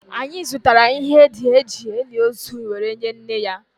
anyị zụtara ihe ndị e ji eli ozu were nye nne ya